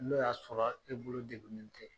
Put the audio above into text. N'o y'a sɔrɔ e bolo degunnen tɛ